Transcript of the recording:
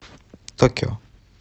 токио